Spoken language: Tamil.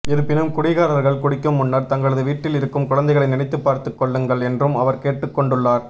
இருப்பினும் குடிகாரர்கள் குடிக்கும் முன்னர் தங்களது வீட்டில் இருக்கும் குழந்தைகளை நினைத்து பார்த்துக் கொள்ளுங்கள் என்றும் அவர் கேட்டுக் கொண்டுள்ளார்